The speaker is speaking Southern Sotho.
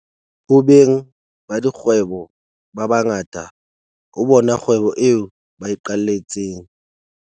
Ho beng ba dikgwebo ba ba ngata, ho bona kgwebo eo ba iqaletseng.